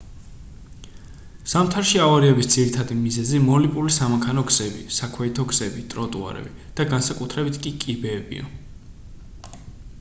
ზამთარში ავარიების ძირითადი მიზეზი მოლიპული სამანქანო გზები საქვეითო გზები ტროტუარები და განსაკუთრებით კი კიბეებია